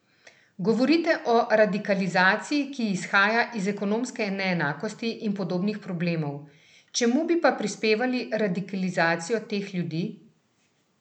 Govorite o radikalizaciji, ki izhaja iz ekonomske neenakosti in podobnih problemov, čemu bi pa pripisali radikalizacijo teh ljudi?